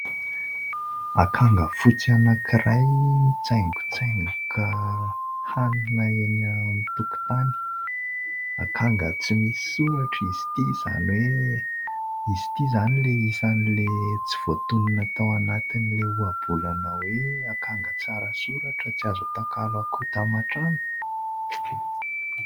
Akanga fotsy anankiray mitsaingotsaingoka hanina eny an-tokotany. Akanga tsy misy soratra izy ity, izany hoe izy ity izany ilay isan'ilay tsy voatonona tao anatin'ilay ohabolana hoe "akanga tsara soratra tsy azo atakalo akoho taman-trano" ?